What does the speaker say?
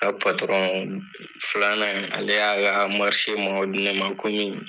N ka filanan in ale y'a ka di ne ma ko